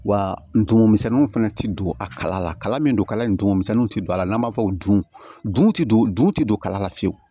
Wa ndugun misɛnninw fɛnɛ ti don a kala la kala min don kala in dugumisɛnninw ti don a la n'an b'a fɔ dun ti don tɛ don kala la fiyewu